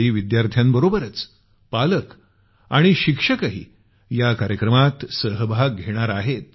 यावेळी विद्यार्थ्याबरोबरच पालक आणि शिक्षकही या कार्यक्रमात सहभाग घेणार आहेत